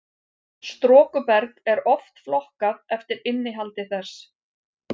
storkuberg er oft flokkað eftir innihaldi þess